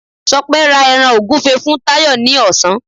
Ṣọpẹ́ ra ẹran ògúfe fún Táyọ̀ ní ọ̀sán